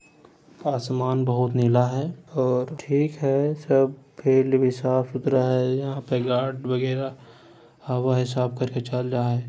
आसमान बहुत नीला है और ठीक है सब फील्ड भी साफ-सुथरा है यहाँ पे गार्ड बगेरा आवा हय साफ केर के चल जाय हेय।